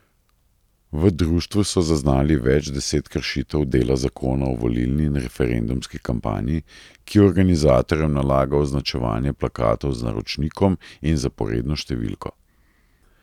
V društvu so zaznali več deset kršitev dela zakona o volilni in referendumski kampanji, ki organizatorjem nalaga označevanje plakatov z naročnikom in zaporedno številko.